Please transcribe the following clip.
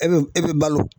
E bɛ e bɛ balo